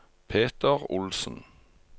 Peter Olsen